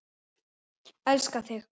Elska þig.